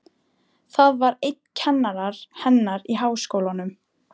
Það var einn kennara hennar í Háskólanum.